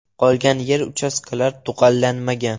Qolgan yer-uchastkalar tugallanmagan.